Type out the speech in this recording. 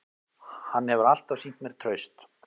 Hann hefur alltaf sýnt mér traust